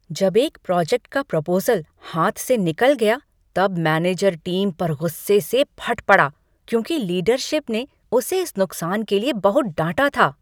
जब एक प्रोजेक्ट का प्रपोज़ल हाथ से निकल गया तब मैनेजर टीम पर गुस्से से फट पड़ा क्योंकि लीडरशिप ने उसे इस नुकसान के लिए बहुत डांटा था।